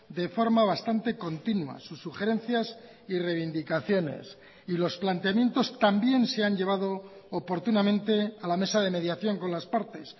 de forma bastante continua sus sugerencias y reivindicaciones y los planteamientos también se han llevado oportunamente a la mesa de mediación con las partes